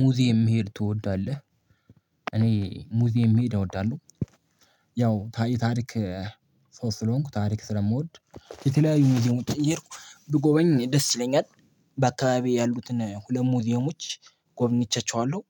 ሙዚየም መሄድ ትወዳለህ? እኔ ሙዚየም መሄድ እወዳለሁ። ያው ታሪክ ሰው ስለሆንኩ ታሪክ ስለምወድ የተለያዩ መዚየሞችን እየሄድኩ ብጎበኝ ደስ ይለኛል። በአካባቢዬ ያሉትን ሁለት ሙዚየሞች ጎብኝቻቸዋለሁ።